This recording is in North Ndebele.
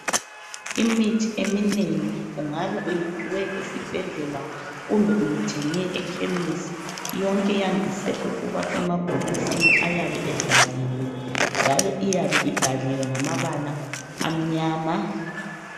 Imithi eminengi, ungabe uyiphiwe esibhedlela kumbe uyithenge ekhemesi yonke yandise ukuba semabhokisini ayabe evaliwe njalo iyabe ibhaliwe ngamabala amnyama.